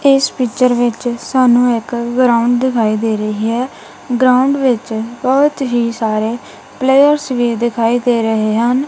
ਇਸ ਪਿਕਚਰ ਵਿੱਚ ਸਾਨੂੰ ਇੱਕ ਗਰਾਊਂਡ ਦਿਖਾਈ ਦੇ ਰਹੀ ਹੈ ਗਰਾਊਂਡ ਵਿੱਚ ਬਹੁਤ ਹੀ ਸਾਰੇ ਪਲੇਅਰਸ ਵੀ ਦਿਖਾਈ ਦੇ ਰਹੇ ਹਨ।